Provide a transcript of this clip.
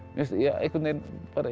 einhvern veginn